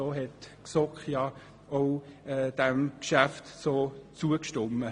So hat die GSoK diesem Geschäft zugestimmt.